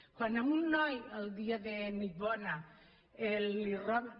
quan a un noi el dia de nit bona li roben